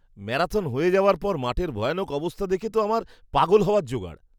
Marathon হয়ে যাওয়ার পর মাঠের ভয়ানক অবস্থা দেখে তো আমার পাগল হওয়ার জোগাড়!